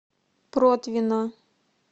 протвино